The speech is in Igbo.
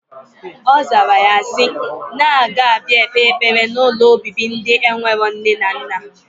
Ozara ya si, na aga abia kpe ekpere na ụlọ obibi ndi enwero nne na nna.